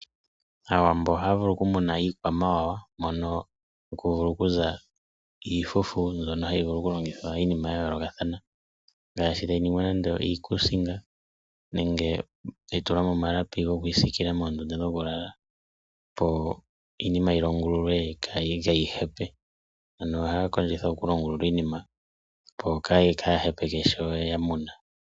Aawambo ohaya vulu okumuna iikwamawawa hono akuvulu okuza iifufu mbyono hayi lingithwa iinima yayoolokathana ,ngaashi tayi ningwa nande iikuusinga nenge tayi tukwa mimalapi go kwiisikila moondunda dhokulala opo iinima yilongululwe kqyi hepe. Nohaya kondjitha okulonga iinima opo kayi kahepe sho ye ya mona.